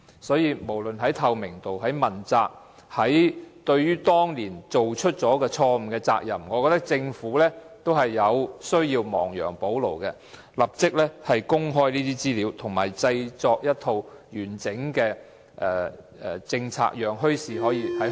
所以，不論在透明度、問責或對於當年作出錯誤決定的責任上，我認為政府也需要亡羊補牢，立即公開資料及制訂一套完整政策，讓墟市在香港能夠得以成功。